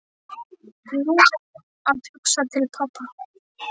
Nú var hún að hugsa til pabba.